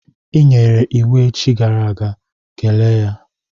I nyere iwu echi gara aga, kelee ya!